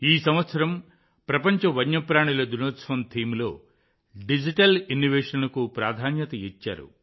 ఈ సంవత్సరం ప్రపంచ వన్యప్రాణుల దినోత్సవం థీమ్లో డిజిటల్ ఇన్నొవేషన్కు ప్రాధాన్యత ఇచ్చారు